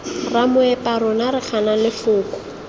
ramoepa rona re gana lefoko